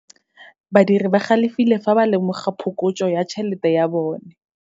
Badiri ba galefile fa ba lemoga phokotso ya tšhelete ya bone.